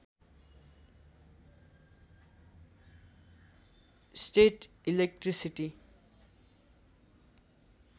state electricity